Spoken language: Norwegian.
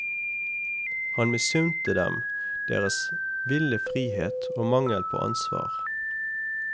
Han misunte dem deres ville frihet og mangel på ansvar.